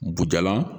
Bujalan